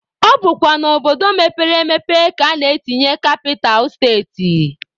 Ọ bụkwa n'obodo mepere emepe ka a na-etinye kapital steti.